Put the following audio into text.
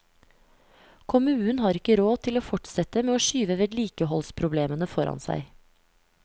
Kommunen har ikke råd til å fortsette med å skyve vedlikeholdsproblemene foran seg.